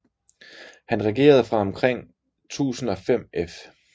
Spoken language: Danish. Han regerede fra omkring 1005 f